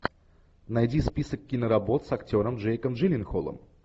найди список киноработ с актером джейком джилленхолом